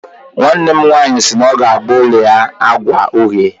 Nwanne m nwanyị si na ọ ga-agba ụlọ ya agwa uhie